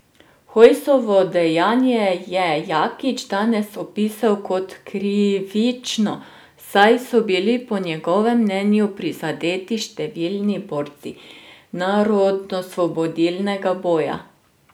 Hojsovo dejanje je Jakič danes opisal kot krivično, saj so bili po njegovem mnenju prizadeti številni borci narodnoosvobodilnega boja.